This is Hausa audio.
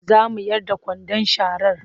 Za mu yar da kwandon sharar.